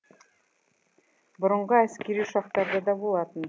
бұрынғы әскери ұшақтарда да болатын